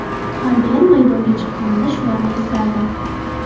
Har gal maydonga chiqqanimda shularni eslardim.